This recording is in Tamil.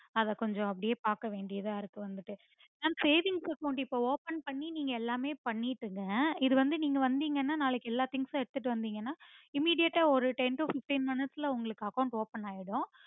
அத கொஞ்சம் அப்புடியே பாக்கவேண்டியதா இருக்கு வந்துட்டு mam savings account இப்போ open பண்ணி நீங்க எல்லாமே பண்ணனிக்குங்க இது வந்து நீங்க வந்தீங்கனா நாளைக்கு எல்லா things உம் எடுத்துட்டு வந்திங்கனா immediate ஆ ஒரு ten to fifteen minutes ல உங்களுக்கு account open ஆகிடும்